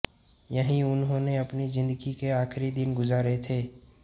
यहीं उन्होंने अपनी जिंदगी के आखिरी दिन गुजार थे